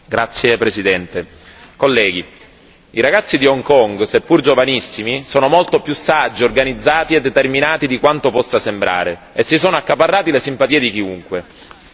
Signor Presidente, onorevoli colleghi, i ragazzi di Hong Kong seppur giovanissimi sono molto più saggi, organizzati e determinati di quanto possa sembrare e si sono accaparrati le simpatie di chiunque.